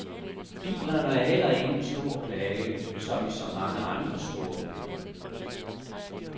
Bilerne er heller ingen stor plage, som i så mange andre storbyer.